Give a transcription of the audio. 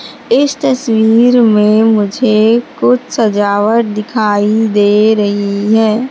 इस तस्वीर में मुझे कुछ सजावट दिखाई दे रही है।